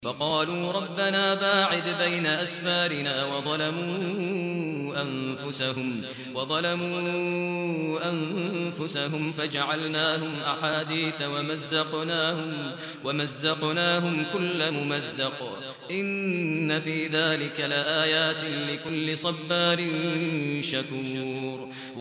فَقَالُوا رَبَّنَا بَاعِدْ بَيْنَ أَسْفَارِنَا وَظَلَمُوا أَنفُسَهُمْ فَجَعَلْنَاهُمْ أَحَادِيثَ وَمَزَّقْنَاهُمْ كُلَّ مُمَزَّقٍ ۚ إِنَّ فِي ذَٰلِكَ لَآيَاتٍ لِّكُلِّ صَبَّارٍ شَكُورٍ